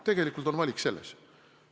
Tegelikult on valik selles.